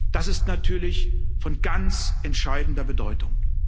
Das ist natürlich von ganz entscheidender Bedeutung.